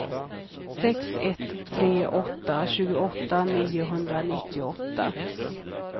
sex ett tre åtta tjugoåtta niohundranittioåtta